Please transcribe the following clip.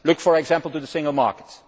Look, for example, at the single market.